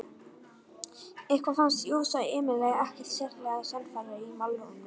Eitthvað fannst Jósa Emil ekkert sérlega sannfærandi í málrómnum.